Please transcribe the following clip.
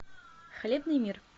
хлебный мир